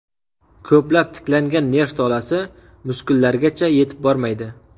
Ko‘plab tiklangan nerv tolasi muskullargacha yetib bormaydi.